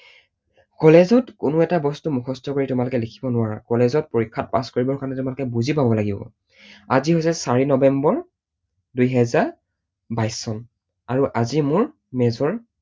College ত কোনো এটা বস্তু তোমালোকে মুখস্থ কৰি লিখিব নোৱাৰা। college ত পৰীক্ষাত pass কৰিব কাৰণে তোমালোকে বুজি পাব লাগিব। আজি হৈছে চাৰি নৱেম্বৰ দুহেজাৰ বাইশ চন আৰু আজি মোৰ মেজৰ